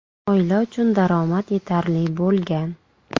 Oila uchun daromad yetarli bo‘lgan.